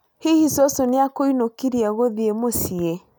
Hihi cũcũ nĩ akũĩnukirie gũthiĩ mũciĩ?